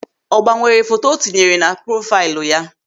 Ọ gbanwe foto o tinyere na profaịlụ ya?